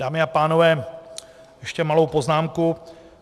Dámy a pánové, ještě malou poznámku.